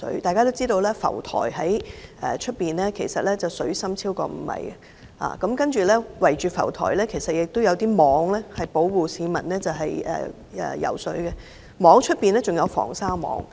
大家也知海上浮台的水深超過5米，而浮台周圍設有圍網，保護市民游泳安全，而圍網外還設有防鯊網。